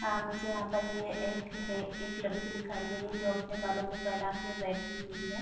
अ मुझे यहाँ पर ये एक है एक लड़की दिखाई दे रही है जो अपने बालों को फैला के बैठी हुई है।